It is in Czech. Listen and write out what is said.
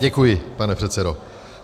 Děkuji, pane předsedo.